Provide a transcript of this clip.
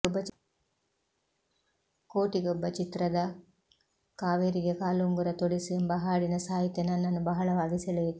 ಕೋಟಿಗೊಬ್ಬ ಚಿತ್ರದ ಕಾವೇರಿಗೆ ಕಾಲುಂಗುರ ತೊಡಿಸಿ ಎಂಬ ಹಾಡಿನ ಸಾಹಿತ್ಯ ನನ್ನನ್ನು ಬಹಳವಾಗಿ ಸೆಳೆಯಿತು